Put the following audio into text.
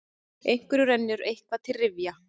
Einhverjum rennur eitthvað til rifja